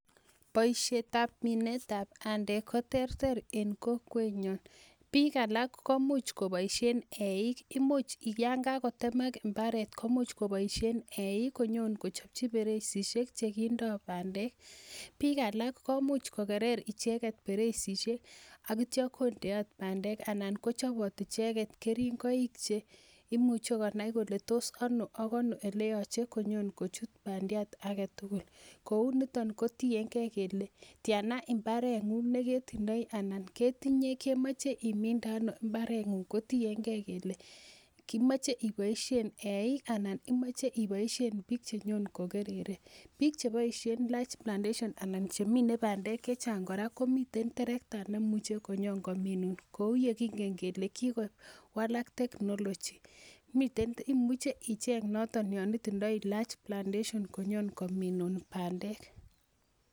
Boisiet ab minetab bandek ko terter en kokwetnyun, biik alak koimuch koboisien eik imuch yan kakotemak mbaret komuch koboisie eik kochopchi beresisiek chekindoo bandek. Biik alak komuch kokerer beresisiek ak itya kondeot bandek anan kochobot icheket keringoik cheimuche konai kole tos ano ak ano eleyoche konyon kochut bandiat aketugul kou niton ko tiengee kele tyana mbaret ng'ung neketindoi ana ketinye kemoche iminde ano mbaret ng'ung ko tiengei kele imoche iboisien eik anan imoche iboisien biik chenyon kokerere biik cheboisien large plantation anan chemine bandek chechang kora komiten terekta nemuche konyon kominun kou yekingen kele kikowalak technology miten imuche icheng noton yon itindoi large plantation konyon kominun bandek